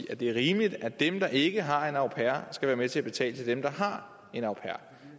at det er rimeligt at dem der ikke har en au pair skal være med til at betale til dem der har en au pair